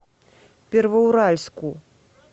первоуральску